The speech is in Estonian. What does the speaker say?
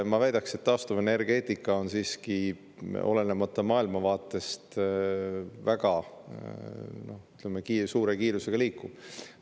Ma väidaks, et taastuvenergeetika liigub siiski, olenemata maailmavaatest, väga suure kiirusega edasi.